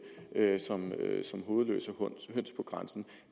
som hovedløse høns på grænsen